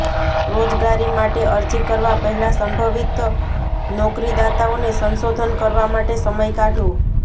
રોજગારી માટે અરજી કરવા પહેલાં સંભવિત નોકરીદાતાઓને સંશોધન કરવા માટે સમય કાઢો